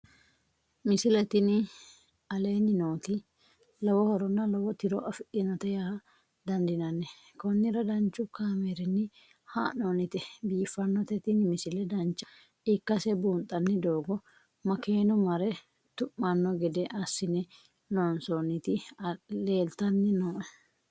misile tini aleenni nooti lowo horonna lowo tiro afidhinote yaa dandiinanni konnira danchu kaameerinni haa'noonnite biiffannote tini misile dancha ikkase buunxanni doogo makeenu mare tu'manno gede assine loonsoonniti leeltanni nooe